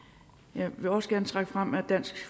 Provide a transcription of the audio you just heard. jeg vil også gerne trække frem at dansk